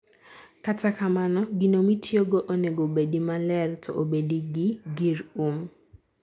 Kata kamano gino mitiyo go onego bedi maler to obedi gi gir um